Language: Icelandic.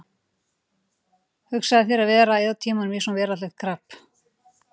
Hugsaðu þér að vera að eyða tímanum í svona veraldlegt karp!